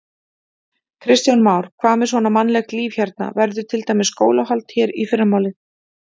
Kristján Már: Hvað með svona mannlegt líf hérna, verður til dæmis skólahald hér í fyrramálið?